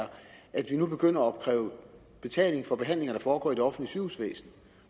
at vi nu begynder at opkræve betaling for behandlinger der foregår i det offentlige sygehusvæsen